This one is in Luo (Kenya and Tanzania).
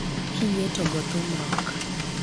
kiyie to go thum rock.